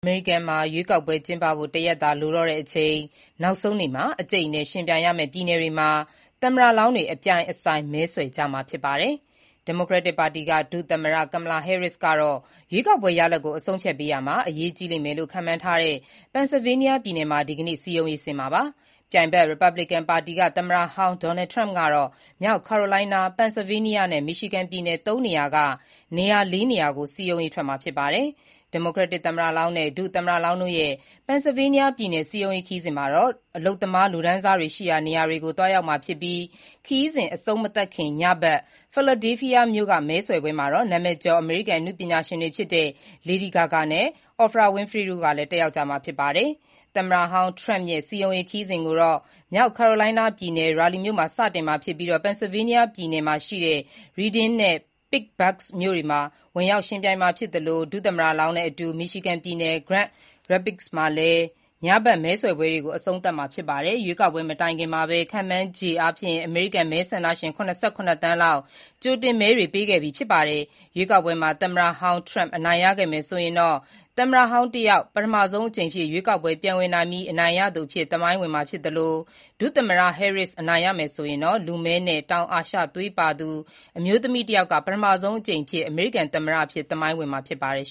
အမေရိကန်မှာ ရွေးကောက်ပွဲကျင်းပဖို့ တရက်သာလိုတော့တဲ့အချိန် နောက်ဆုံးနေ့မှာ အကြိတ်အနယ် ယှဉ်ပြိုင်ရမယ့်ပြည်နယ်တွေမှာ သမ္မတလောင်းတွေ အပြိုင်အဆိုင် မဲဆွယ်ကြမှာဖြစ်ပါတယ်။ ဒီမိုကရက်တစ်ပါတီက ဒုသမ္မတ Kamala Harris ကတော့ ရွေးကောက်ပွဲရလဒ်ကို အဆုံးအဖြတ်ပေး ရာမှာ အရေးကြီးလိမ့်မယ်လို့ ခန့်မှန်းထားတဲ့ Pennsylvania ပြည်နယ်မှာ ဒီကနေ့ စည်းရုံးရေးဆင်း မှာပါ။ ပြိုင်ဘက် ရီပတ်ဘလစ်ကန်ပါတီက သမ္မတဟောင်း Donald Trump ကတော့ မြောက် Carolina, Pennsylvania နဲ့ Michigan ပြည်နယ် ၃ ခုက ၄ နေရာကို စည်းရုံးရေးထွက်မှာ ဖြစ်ပါတယ်။ ဒီမိုကရက်တစ်သမ္မတလောင်းနဲ့ ဒုသမ္မတလောင်းတို့ရဲ့ Pennsylvania ပြည်နယ်စည်းရုံးရေးခရီးစဉ် မှာတော့ အလုပ်သမားလူတန်းစားတွေရှိတဲ့နေရာတွေကို သွားကြမှာဖြစ်ပြီး ခရီးစဉ် အဆုံးမသတ်ခင် ညဘက် Philadelphia မြို့က မဲဆွယ်ပွဲမှာတော့ နာမည်ကျော် အမေရိကန်အနုပညာရှင်တွေဖြစ်တဲ့ Lady Gaga နဲ့Oprah Winfrey တို့လည်း တက်ရောက်ကြမှာပါ။ သမ္မတဟောင်း Trump ရဲ့ စည်းရုံးရေးခရီးစဉ်ကိုတော့ မြောက် Carolina ပြည်နယ် Raleigh မြို့မှာ စတင်ပြီးPennsylvania ပြည်နယ် Reading နဲ့ Pittsburgh မြို့တွေကို ဝင်ရောက်မှာဖြစ်သလို ဒုသမ္မတ လောင်းနဲ့အတူ Michigan ပြည်နယ်၊ Grand Rapids မှာ ညဘက်မဲဆွယ်ပွဲတွေကို အဆုံးသတ်မှာ ဖြစ်ပါတယ်။ ရွေးကောက်ပွဲမတိုင်ခင်မှာပဲ ခန့်မှန်းခြေ အမေရိကန်မဲဆန္ဒရှင် ၇၇ သန်းလောက် ကြိုတင်မဲတွေ ပေးခဲ့ပြီးဖြစ်ပါတယ်။ရွေးကောက်ပွမှာ သမ္မတဟောင်း Trump အနိုင်ရခဲ့မယ်ဆိုရင် သမ္မတဟောင်း တယောက် ပထမဆုံးအကြိမ်ရွေးကောက်ပွဲပြန်ဝင်ပြီး အနိုင်ရသူအဖြစ် သမိုင်းဝင်မှာဖြစ်သလို ဒုသမ္မတ Harris အနိုင်ရမယ်ဆိုရင်တော့ ပထမဆုံးအမျိုးသမီးလည်းဖြစ်၊ လူမည်းနဲ့ တောင်အာရှ သွေးပါသူတယောက် ပထမဆုံးအကြိမ် အမေရိကန်သမ္မတအဖြစ်သမိုင်းဝင်မှာ ဖြစ်ပါတယ်